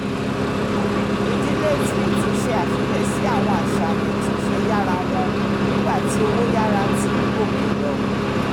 ìdílé smith ṣe àfiyesi àwọn àṣàyàn ìtúnṣe yára wọn nígbà tí owó yára ti ń gòkè lọ